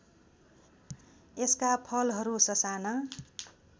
यसका फलहरू ससाना